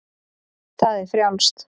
Það er frjálst.